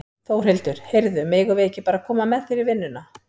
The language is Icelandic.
Þórhildur: Heyrðu, megum við ekki bara koma með þér í vinnuna?